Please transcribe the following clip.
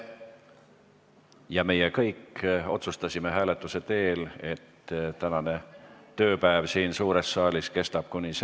Kuna meie kõik otsustasime hääletuse teel, et tänane tööpäev siin suures saalis kestab kuni selle päevakorrapunkti ammendumiseni, siis soovin teile kõike kõige paremat tööks komisjonides.